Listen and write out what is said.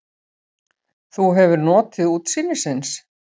Þú hefur notið útsýnisins?